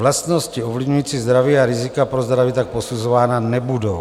Vlastnosti ovlivňující zdraví a rizika pro zdraví tak posuzovány nebudou.